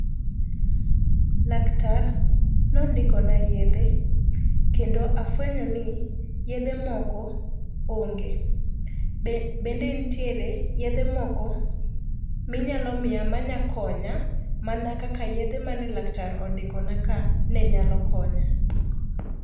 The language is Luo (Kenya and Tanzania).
Laktar nondikona yedhe kendo afwenyo ni yedhe moko onge bende ntiere yedhe moko minyalo miya manyakonya mana kaka yedhe mane laktar ondikonaka ne nyalo konya.